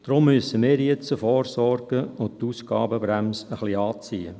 – Deshalb müssen wir jetzt vorsorgen und die Ausgabenbremse ein wenig anziehen.